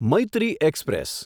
Maitri express